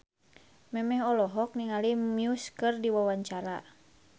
Memes olohok ningali Muse keur diwawancara